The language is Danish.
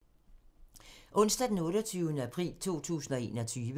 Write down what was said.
Onsdag d. 28. april 2021